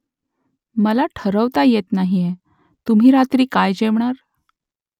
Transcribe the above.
मला ठरवता येत नाहीये . तुम्ही रात्री काय जेवणार ?